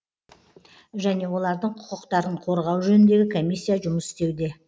және олардың құқықтарын қорғау жөніндегі комиссия жұмыс істеуде